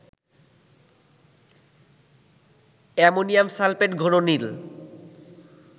ammonium sulphate ঘন নীল